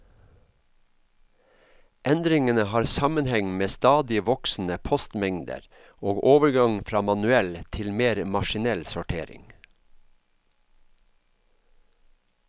Endringene har sammenheng med stadig voksende postmengder og overgang fra manuell til mer maskinell sortering.